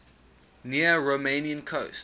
near romanian coast